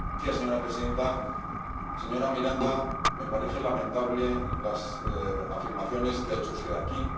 Señora presidenta, señora Miranda, me parecen lamentables las afirmaciones que ha hecho usted aquí.